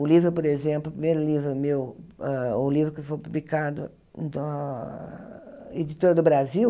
O livro, por exemplo, o primeiro livro meu, hã o livro que foi publicado da Editora do Brasil,